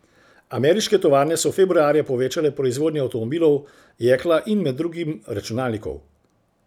Ameriške tovarne so februarja povečale proizvodnjo avtomobilov, jekla in med drugim računalnikov.